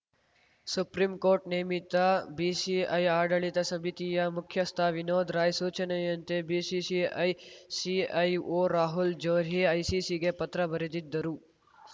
supreme court ನೇಮಿತ BCI ಆಡಳಿತ ಸಮಿತಿಯ ಮುಖ್ಯಸ್ಥ ವಿನೋದ್‌ ರಾಯ್‌ ಸೂಚನೆಯಂತೆ ಬಿಸಿಸಿಐ ಸಿಐಒ ರಾಹುಲ್‌ ಜೋಹ್ರಿ ಐಸಿಸಿಗೆ ಪತ್ರ ಬರೆದಿದ್ದರು